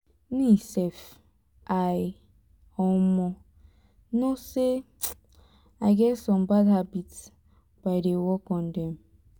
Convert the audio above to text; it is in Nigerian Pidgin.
me sef i um know say i get some bad habit but i dey work on dem